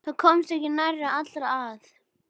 Það komast ekki nærri allir að.